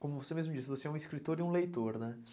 Como você mesmo disse, você é um escritor e um leitor, né?